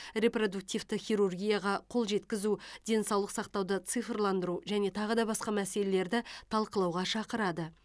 репродуктивті хирургияға қол жеткізу денсаулық сақтауды цифрландыру және тағы да басқа мәселелерді талқылауға шақырады